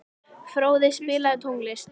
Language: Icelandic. Fróði, spilaðu tónlist.